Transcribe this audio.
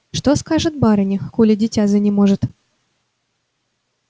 что скажет барыня коли дитя занеможет